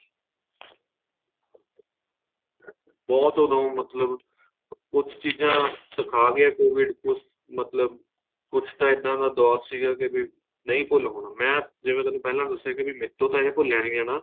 ਬਹੁਤ ਦੋਂ ਮਤਲਬ ਕੁੱਝ ਚੀਜ਼ਾਂ ਸਿਖਾ ਗਿਆ COVID ਕੁੱਝ ਮਤਲਬ ਕੁੱਝ ਤਾਂ ਇੱਦਾਂ ਦਾ ਦੋਰ ਸੀਗਾ ਕੇ ਵੀ ਨਹੀਂ ਭੁੱਲ ਹੋਣਾ ਮੈਂ ਜਿਵੇਂ ਤੁਹਾਨੂੰ ਪਹਿਲਾਂ ਦੱਸਿਆ ਏ ਮੇਰੇ ਤੋ ਤਾਂ ਏ ਭੁੱਲਿਆ ਨਹੀਂ ਜਾਣਾ